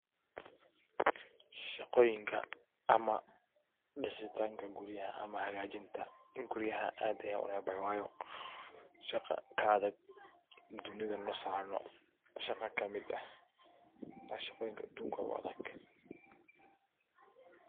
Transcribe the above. Shaqoyinka ama disitanka guriyaah ama hagajinata guriyaha aad an unecbahay wayo shaqa kaadad dunidha masarno shaqa kamid eh wa shaqoyinka dunida uga adhag.